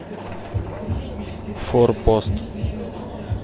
форпост